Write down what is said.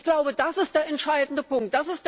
Ich glaube, das ist der entscheidende Punkt.